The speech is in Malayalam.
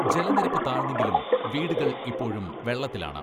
ജലനിരപ്പ് താഴ്ന്നെങ്കിലും വീടുകൾ ഇപ്പോഴും വെള്ളത്തിലാണ്.